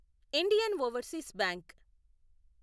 Indian overseas bank